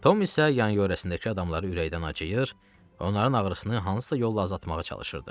Tom isə yanyörəsindəki adamlara ürəkdən acıyır, onların ağrısını hansısa yolla azaltmağa çalışırdı.